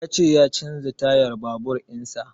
Ya ce ya canza tayan babur in sa